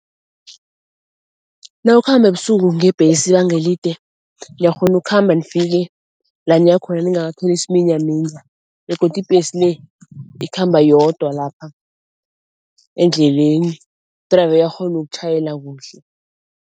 Nawukhamba ebusuku ngebhesi ibanga elide, uyakghona ukhamba nifike la niya khona ningakatholi isiminyaminya begodu ibhesi le ikhamba yodwa lapha endleleni, u-driver uyakghona ukutjhayela kuhle.